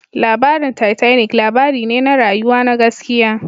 Labarin Titanic labari ne na rayuwa na gaskiya